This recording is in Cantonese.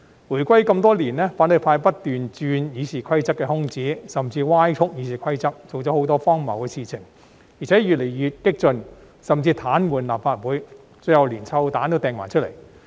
回歸多年，反對派不斷鑽《議事規則》的空子，甚至歪曲《議事規則》，做了很多荒謬的事情，而且越來越激進，甚至癱瘓立法會，最後連"臭彈"也擲出來。